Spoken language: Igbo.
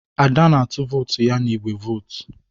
Ada na-atụ vootu ya n'igbe vootu.